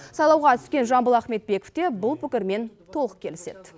сайлауға түскен жамбыл ахметбеков те бұл пікірмен толық келіседі